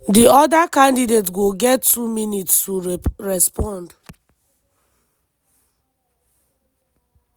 di oda candidate go get two minutes to respond.